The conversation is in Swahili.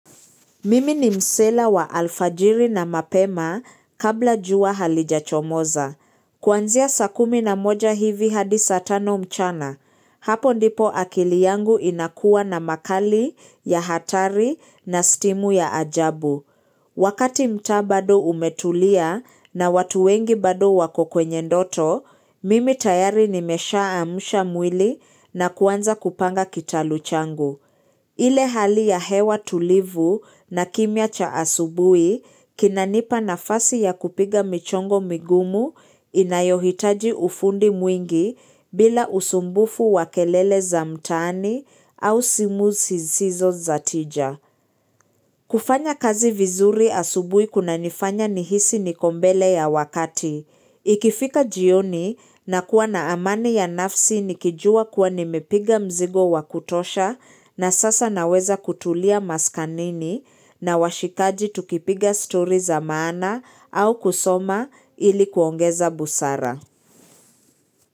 Mimi ni msela wa alfajiri na mapema kabla jua halijachomoza. Kuanzia saa kumi na moja hivi hadisa tano mchana. Hapo ndipo akili yangu inakua na makali, ya hatari, na stimu ya ajabu. Wakati mtaa bado umetulia na watu wengi bado wako kwenye ndoto, mimi tayari nimeshaa amsha mwili na kuanza kupanga kitaluchangu. Ile hali ya hewa tulivu na kimya cha asubui kinanipa nafasi ya kupiga michongo migumu inayohitaji ufundi mwingi bila usumbufu wakelele za mtaani au simu zisizo za tija. Kufanya kazi vizuri asubuhi kuna nifanya nihisi nikombele ya wakati. Ikifika jioni na kuwa na amani ya nafsi nikijua kuwa nimepiga mzigo wakutosha na sasa naweza kutulia maskanini na washikaji tukipiga story za maana au kusoma ilikuongeza busara.